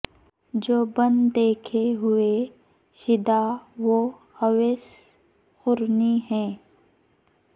جو بن دیکھے ہوئے شیدا وہ اویس قرنی ہے